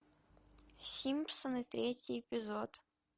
симпсоны третий эпизод